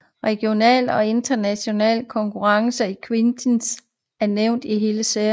Regionale og internationale konkurrencer i Quidditch er nævnt i hele serien